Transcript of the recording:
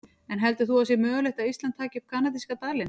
En heldur þú að það sé mögulegt að Ísland taki upp kanadíska dalinn?